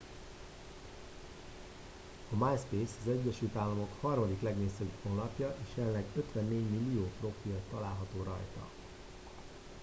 a myspace az egyesült államok harmadik legnépszerűbb honlapja és jelenleg 54 millió profil található rajta